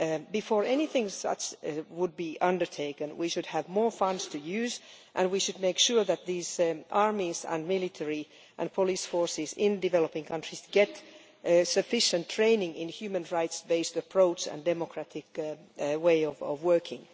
Before anything like this is undertaken we should definitely have more funds to use, and we should make sure that these armies and military and police forces in developing countries get sufficient training in a human rights based approach and a democratic way of working.